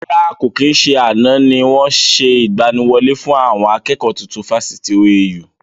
Rárá, kò kí n ṣe àná ni wọn ṣe ìgbàníwọlé fún àwọn akẹ́kọ̀ọ́ tuntun Fáṣítì OAU